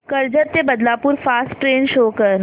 कर्जत ते Badlapur fast train show कर